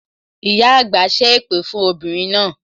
Ìyá àgbà ṣé èpè fún obìnrin náà